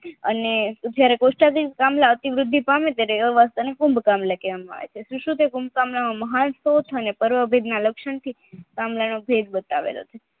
અને જયારે કોસ્ટડીન કમલા ત્યારે અતિવૃદ્ધિ કુંદકામળા કહેવામાં આવે છે લક્ષણ થી કમલા અને